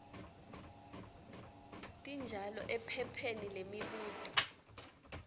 tinjalo ephepheni lemibuto